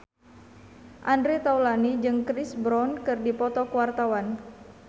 Andre Taulany jeung Chris Brown keur dipoto ku wartawan